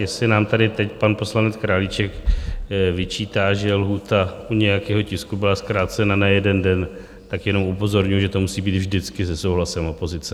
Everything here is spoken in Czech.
Jestli nám tady teď pan poslanec Králíček vyčítá, že lhůta u nějakého tisku byla zkrácena na jeden den, tak jenom upozorňuju, že to musí být vždycky se souhlasem opozice.